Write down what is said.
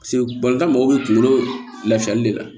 Paseke balontan mɔgɔw bɛ kunkolo lafiyali de la